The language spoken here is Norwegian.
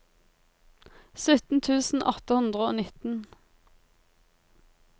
sytten tusen åtte hundre og nitten